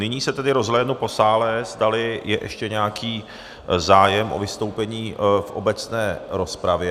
Nyní se tedy rozhlédnu po sále, zdali je ještě nějaký zájem o vystoupení v obecné rozpravě.